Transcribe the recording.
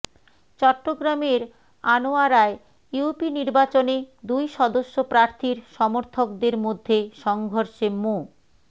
চট্টগ্রামের আনোয়ারায় ইউপি নির্বাচনে দুই সদস্য প্রার্থীর সমর্থকদের মধ্যে সংঘর্ষে মো